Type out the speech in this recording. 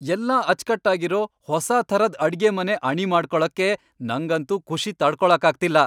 ಎಲ್ಲ ಅಚ್ಕಟ್ಟಾಗಿರೋ ಹೊಸಾ ಥರದ್ ಅಡ್ಗೆಮನೆ ಅಣಿ ಮಾಡ್ಕೊಳಕ್ಕೆ ನಂಗಂತೂ ಖುಷಿ ತಡ್ಕೊಳಕ್ಕಾಗ್ತಿಲ್ಲ.